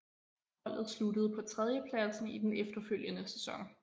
Holdet sluttede på tredjepladsen i den efterfølgende sæson